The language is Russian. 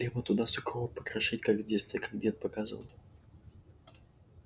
хлеба туда сухого покрошить как в детстве как дед показывал